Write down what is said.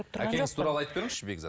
әкеңіз туралы айтып беріңізші бекзат